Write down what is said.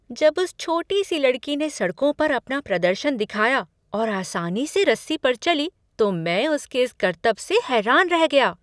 जब उस छोटी सी लड़की ने सड़कों पर अपना प्रदर्शन दिखाया और आसानी से रस्सी पर चली तो मैं उसके इस करतब से हैरान रह गया।